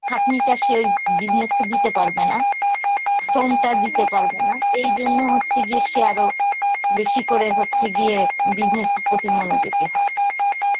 খাটনিটা সে ওই business এ দিতে পারবে না, শ্রম টা দিতে পারবে না এইজন্য হচ্ছে গিয়ে সে আরো বেশি করে হচ্ছে গিয়ে business এর প্রতি মনোযোগী হয়.